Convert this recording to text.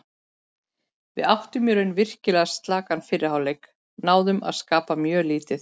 Við áttum í raun virkilega slakan fyrri hálfleik, náðum að skapa mjög lítið.